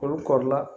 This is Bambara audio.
Olu kɔɔri la